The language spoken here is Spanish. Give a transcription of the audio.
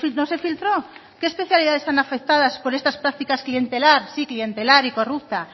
no se filtró qué especialidades hay afectadas por estas prácticas clientelar sí clientelar y corrupta